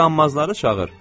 O qanmazları çağır.